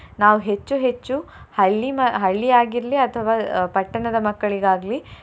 ನಾವು ಹೆಚ್ಚು ಹೆಚ್ಚು ಹಳ್ಳಿ ಮ~ ಹಳ್ಳಿ ಆಗಿರ್ಲಿ ಅಥವಾ ಪಟ್ಟಣದ ಮಕ್ಕಳಿಗಾಗ್ಲಿ.